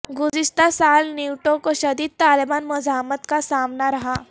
گزشتہ سال نیٹو کو شدید طالبان مزاحمت کا سامنا رہا